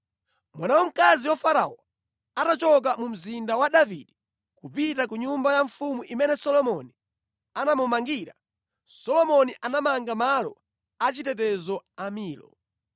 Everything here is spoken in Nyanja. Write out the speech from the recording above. Mwana wamkazi wa Farao atachoka mu Mzinda wa Davide, kupita ku nyumba ya mfumu imene Solomoni anamumangira, Solomoni anamanga malo achitetezo a Milo.